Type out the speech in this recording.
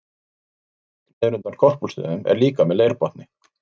Gorvík niður undan Korpúlfsstöðum er líka með leirbotni.